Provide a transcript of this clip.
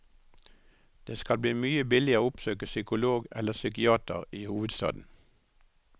Det skal bli mye billigere å oppsøke psykolog eller psykiater i hovedstaden.